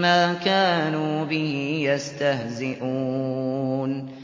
مَّا كَانُوا بِهِ يَسْتَهْزِئُونَ